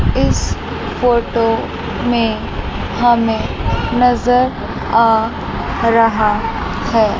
इस फोटो में हमें नज़र आ रहा है।